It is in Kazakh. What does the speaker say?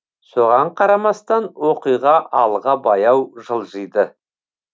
соған қарамастан оқиға алға баяу жылжиды